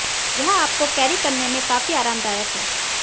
यह आपको कैरी करने में काफी आरामदायक है